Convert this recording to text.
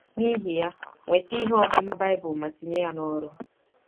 N’ihi ya, nweta ihe ọmụma Bible ma tinye ya n’ọrụ.